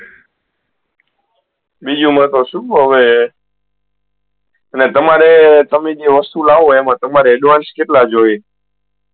બીજુ તો હવે એમાં કશુ તો હવે અને તમારે તમે જે વસ્તુ લાવ એમા તમારે advance કેટલા જોયીયે